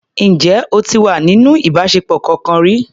Ǹjẹ́ o ti wà nínú ìbáṣepọ̀ kọkan rí?